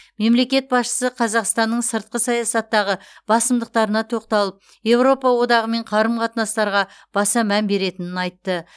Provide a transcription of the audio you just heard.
мемлекет басшысы қазақстанның сыртқы саясаттағы басымдықтарына тоқталып еуропа одағымен қарым қатынастарға баса мән беретінін айтты